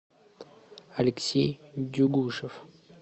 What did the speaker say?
алексей дюгушев